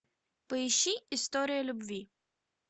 поищи история любви